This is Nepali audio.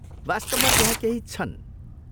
वास्तवमा त्यहाँ केही छन्।